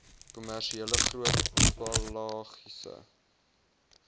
kommersiële groot pelagiese